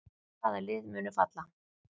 Hvaða lið munu falla?